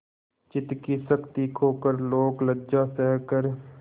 चित्त की शक्ति खोकर लोकलज्जा सहकर